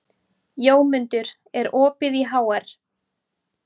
Jómundur, er opið í HR?